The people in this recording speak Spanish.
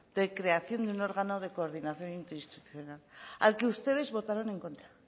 de creación de un órgano coordinación interinstitucional al que ustedes votaron en contra